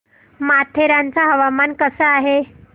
माथेरान चं हवामान कसं आहे